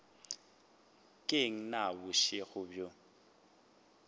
ke eng na bošego bjo